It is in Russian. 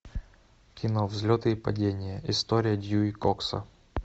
кино взлеты и падения история дьюи кокса